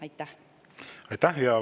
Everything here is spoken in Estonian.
Aitäh!